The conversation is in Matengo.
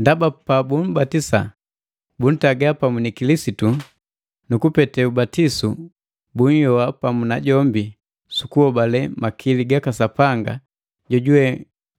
Ndaba pabumbatisa buntaga pamu ni Kilisitu, nu kupete ubatisu bunhyoa pamu najombi su kuhobale makili gaka Sapanga jojuwe